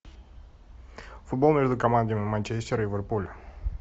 футбол между командами манчестер ливерпуль